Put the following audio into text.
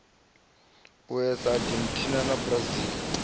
us eu argentina na brazil